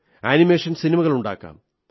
animation സിനിമകൾ ഉണ്ടാക്കാം